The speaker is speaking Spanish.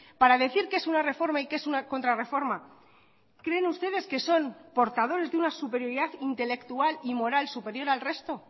para decir qué es una reforma y qué es una contrarreforma creen ustedes que son portadores de una superioridad intelectual y moral superior al resto